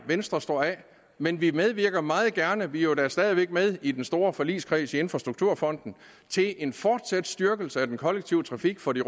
venstre står af men vi medvirker meget gerne vi er jo da stadig væk med i den store forligskreds i infrastrukturfonden til en fortsat styrkelse af den kollektive trafik for de